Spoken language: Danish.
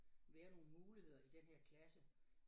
Være nogle muligheder i den her klasse